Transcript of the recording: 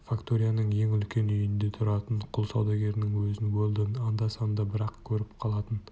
факторияның ең үлкен үйінде тұратын құл саудагерінің өзін уэлдон анда-санда бір-ақ көріп қалатын